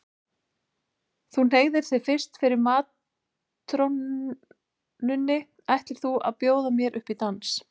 Þú hneigir þig fyrst fyrir matrónunni ætlir þú að bjóða upp í dans.